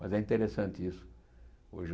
Mas é interessante isso. Hoje eu